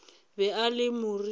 be a le moriting wo